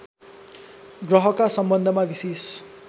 ग्रहका सम्बन्धमा विशेष